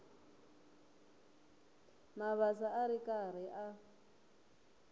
mabasa a ri karhi a